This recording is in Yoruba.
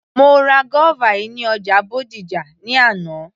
Mo ra guava yìí ní ọjà Bódìjà ní àná